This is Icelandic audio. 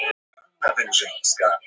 Úrslitin úr Spænska boltanum í dag: